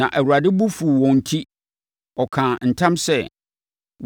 Na Awurade bo fuu wɔn enti ɔkaa ntam sɛ,